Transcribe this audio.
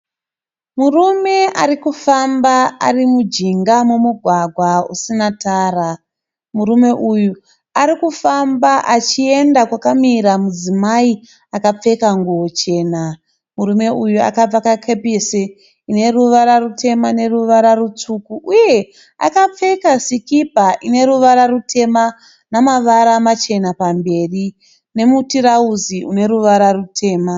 Murume arikufamba ari mujinga mugwagwa usina tara. Murume uyu arikufamba achienda kwakamira mudzimai akapfeka nguwo chena. Murume uyu akapfeka kepisi ineruvara rutema neruvara rutsvuku uye akapfeka sikipa ine ruvara rutema namavara machena pamberi nemutirauzi une ruvara rutema